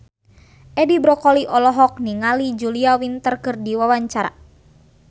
Edi Brokoli olohok ningali Julia Winter keur diwawancara